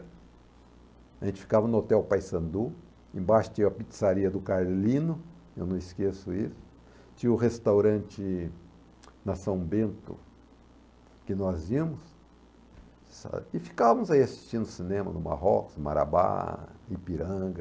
A gente ficava no hotel Paysandu, embaixo tinha a pizzaria do Carlino, eu não esqueço isso, tinha o restaurante na São Bento, que nós íamos, e ficávamos assistindo cinema no Marrocos, Marabá, Ipiranga...